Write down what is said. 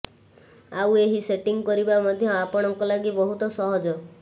ଆଉ ଏହି ସେଟିଙ୍ଗ୍ କରିବା ମଧ୍ୟ ଆପଣଙ୍କ ଲାଗି ବହୁତ ସହଜ